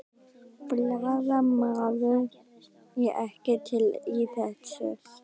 Blaðamaður: Er ekkert til í þessu?